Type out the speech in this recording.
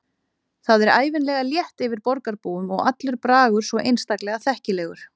Það er ævinlega létt yfir borgarbúum og allur bragur svo einstaklega þekkilegur.